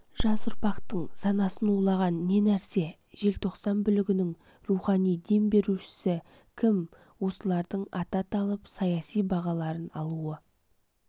жас ұрпақтың санасын улаған не нәрсе желтоқсан бүлігінің рухани дем берушісі кім осылардың аты аталып саяси бағаларын алуы